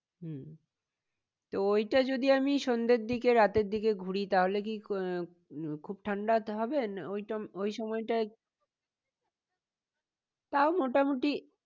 উম তো ওইটা যদি আমি সন্ধের দিকে রাতের দিকে ঘুরি তাহলে কি আহ উম খুব ঠান্ডা হবে না ওই সময়টা তাও মোটামুটি